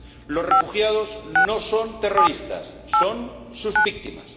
Los refugiados no son terroristas, son sus víctimas.